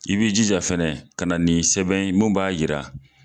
I b'i jija fɛnɛ ka na ni sɛbɛn ye mun b'a yira